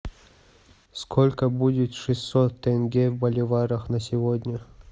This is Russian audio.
сколько будет шестьсот тенге в боливарах на сегодня